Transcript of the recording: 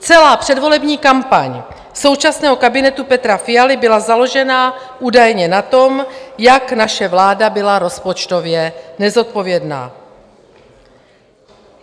Celá předvolební kampaň současného kabinetu Petra Fialy byla založena údajně na tom, jak naše vláda byla rozpočtově nezodpovědná.